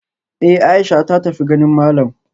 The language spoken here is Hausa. Eh Aisha ta tafi ganin malam